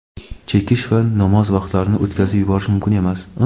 chekish va namoz vaqtlarini o‘tkazib yuborish mumkin emas.